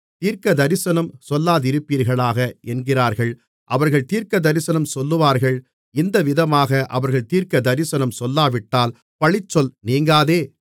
தீர்க்கதரிசனம் சொல்லாதிருப்பீர்களாக என்கிறார்கள் அவர்கள் தீர்க்கதரிசனம் சொல்லுவார்கள் இந்தவிதமாக அவர்கள் தீர்க்கதரிசனம் சொல்லாவிட்டால் பழிச்சொல் நீங்காதே